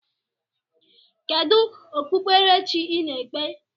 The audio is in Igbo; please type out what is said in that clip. Kedu okpukpere chi ị na-ekpe?